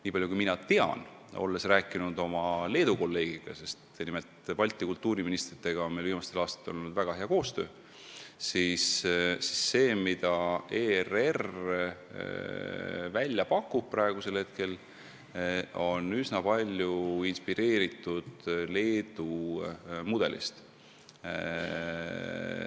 Niipalju kui mina tean, olles rääkinud oma Leedu kolleegiga – Balti kultuuriministritega on meil viimastel aastatel nimelt olnud väga hea koostöö –, siis see, mida ERR praegu välja pakub, on üsna palju inspireeritud Leedu mudelist.